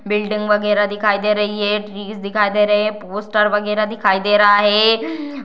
Building वगैरा दिखाई दे रही है। ट्रीज दिखाई दे रहें हैं। पोस्टर वगैरा दिखाई दे रहा है।